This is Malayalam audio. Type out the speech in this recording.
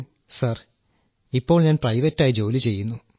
രാജേഷ് പ്രജാപതി സർ ഇപ്പോൾ ഞാൻ പ്രൈവറ്റായി ജോലി ചെയ്യുന്നു